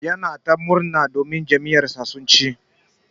Yana ta murna jam'iyar sa sun chi.